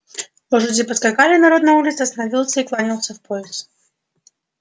лошади поскакали народ на улице останавился и кланялся в пояс